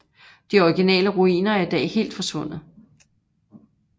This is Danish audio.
De originale ruiner er i dag helt forsvundet